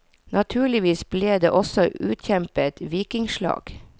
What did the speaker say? Naturligvis ble det også utkjempet vikingslag.